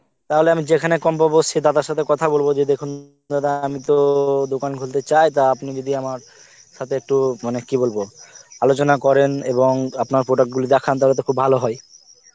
তাহলে আমি যেখানে কম পাব আমি সেই দাদার সথে কথা বলব যে দেখুন দাদা আমি তো দোকান খুলতে চাই টা আপনি যদি আমার সথে একটু মানে কি বলব আলোচনা করেন এবং আপনার product গুলো দেখান তাহলে তো খুব ভালো হয়